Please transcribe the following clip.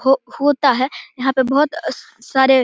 हो होता है। यहाँ पे बोहोत सारे --